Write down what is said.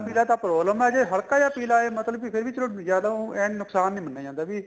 ਪੀਲਾ ਤਾਂ problem ਏ ਜੇ ਹਲਕਾ ਜਾ ਪੀਲਾ ਆਏ ਮਤਲਬ ਕੀ ਫੇਰ ਵੀ ਚਲੋ ਜਿਆਦਾ ਉਹ ਏਨ ਨੁਕਸਾਨ ਨਹੀਂ ਮੰਨਿਆ ਜਾਂਦਾ ਵੀ